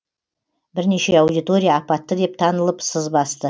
бірнеше аудитория апатты деп танылып сыз басты